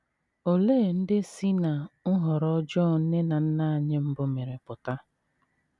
Olee ihe ndị si ná nhọrọ ọjọọ nne na nna anyị mbụ mere pụta?